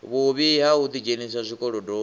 vhuvhi ha u ḓidzhenisa zwikolodoni